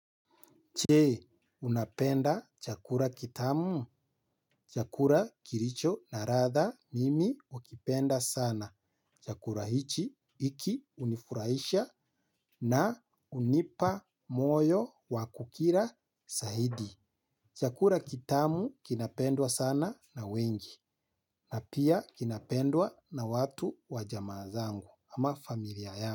Je, unapenda chakula kitamu, chakula kilicho na ladha mimi hukipenda sana, chakula hichi hiki hunifurahisha na hunipa moyo wa kukila zaidi. Chakura kitamu kinapendwa sana na wengi na pia kinapendwa na watu wa jamaa zangu ama familia ya.